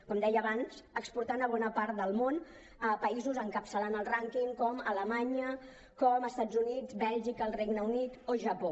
com deia abans exportant a bona part del món a països encapçalant el rànquing com alemanya com els estats units bèlgica el regne unit o japó